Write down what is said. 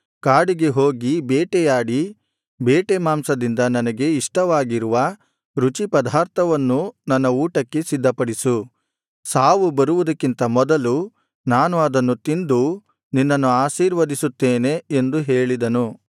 ಕಾಡಿಗೆ ಹೋಗಿ ಬೇಟೆಯಾಡಿ ಬೇಟೆ ಮಾಂಸದಿಂದ ನನಗೆ ಇಷ್ಟವಾಗಿರುವ ರುಚಿಪದಾರ್ಥವನ್ನು ನನ್ನ ಊಟಕ್ಕೆ ಸಿದ್ಧಪಡಿಸು ಸಾವು ಬರುವುದಕ್ಕಿಂತ ಮೊದಲು ನಾನು ಅದನ್ನು ತಿಂದು ನಿನ್ನನ್ನು ಆಶೀರ್ವದಿಸುತ್ತೇನೆ ಎಂದು ಹೇಳಿದನು